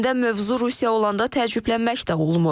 Əslində mövzu Rusiya olanda təəccüblənmək də olmur.